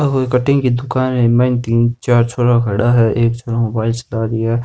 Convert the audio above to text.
ओ कोई कटिंग की दुकान है इ र मायने तीन छोरा खड़ा है एक छोराे मोबाइल चला रियो है।